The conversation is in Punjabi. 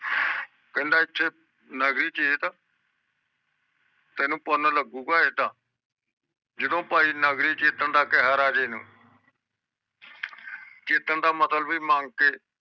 ਕਹਿੰਦਾ ਇੱਥੇ ਨਗਰੀ ਚਿੱਟ ਤੈਨੂੰ ਪੁੰਨ ਲੱਗੂਗਾ ਏਦ ਜਦੋ ਭਾਈ ਨਗਰੀ ਚਿਤੰ ਦਾ ਕੇਹਰ ਆ ਜਾਵੇ ਨਾ ਚੀਤੰਨ ਦਾ ਮਤਲਬ ਮੰਗ ਕੇ